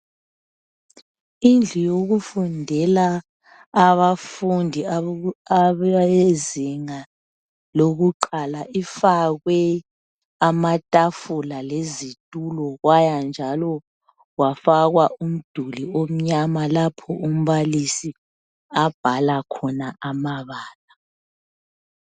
Indlu yokufundela abafundi abezinga lokuqala lifakwe amatafula lezitolo kwaya njalo kwafakwa umduli omnyama lapho umbalisi abhala khona amabala